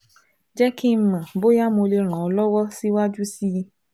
jẹ́ kí n mọ̀ bóyá mo lè ràn ẹ́ lọ́wọ́ síwájú sí i